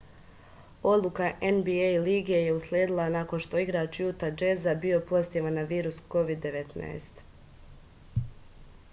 odluka nba lige usledila je nakon što je igrač juta džeza bio pozitivan na virus covid-19